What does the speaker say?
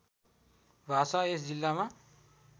भाषा यस जिल्लामा